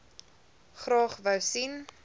graag wou sien